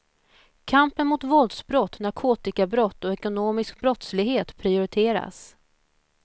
Kampen mot våldsbrott, narkotikabrott och ekonomisk brottslighet prioriteras.